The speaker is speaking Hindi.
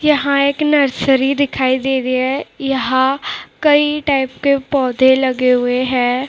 यहां एक नर्सरी दिखाई दे रही है यहां कई टाइप के पौधे लगे हुए हैं।